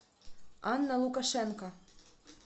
анна лукашенко